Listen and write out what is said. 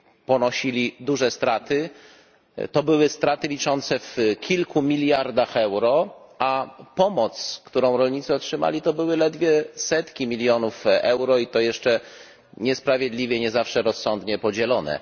ponosili duże straty to były straty w wysokości ukilku miliardów euro, a pomoc, którą rolnicy otrzymali, to były zaledwie setki milionów euro, i to jeszcze niesprawiedliwie, nie zawsze rozsądnie podzielone.